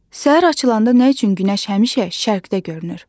Səhər açılanda nə üçün günəş həmişə şərqdə görünür?